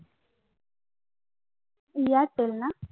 Airtel না